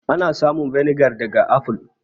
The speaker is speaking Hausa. Ana samun vinegar daga aful.